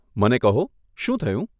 મને કહો, શું થયું?